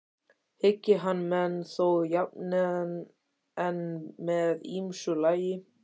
Hyggi hann menn þó jafnan en með ýmsu lagi.